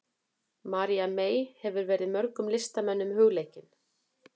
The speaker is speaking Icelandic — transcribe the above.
María mey hefur verið mörgum listamönnum hugleikin.